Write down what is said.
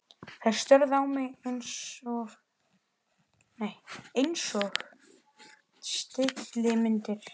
Þær störðu á mig einsog stillimyndir.